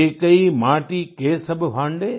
एकै माती के सभ भांडे